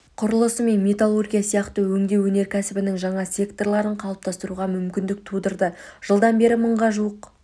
құрылысы мен металлургия сияқты өңдеу өнеркәсібінің жаңа секторларын қалыптастыруға мүмкіндік тудырды жылдан бері мыңға жуық